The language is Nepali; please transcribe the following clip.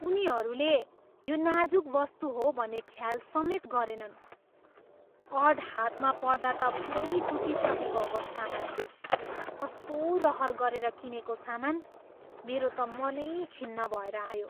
उनीहरूले यो नाजुक वस्तु हो भन्ने ख्याल समेत गरेनन्। अर्ड हातमा पर्दा त पुरै टुटिसकेको अवस्थामा थियो। कस्तो रहर गरेर किनेको सामान, मेरो त मनै खिन्न भएर आयो।